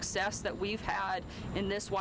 í